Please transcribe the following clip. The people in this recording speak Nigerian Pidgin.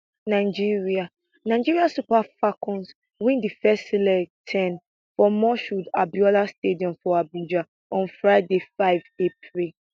nigeria nigeria super falcons win di first leg ten for moshood abiola stadium for abuja on friday 5 april